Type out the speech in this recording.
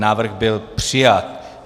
Návrh byl přijat.